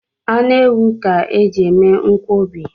Anụ ewu ka e ji eme nkwọbi